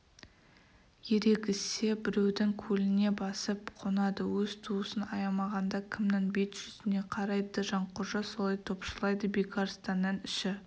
ерегіссе біреудің көліне басып қонады өз туысын аямағанда кімнің бет-жүзіне қарайды жанқожа солай топшылайды бекарыстанның іші